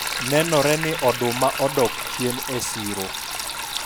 nenore ni oduma odok chien e siro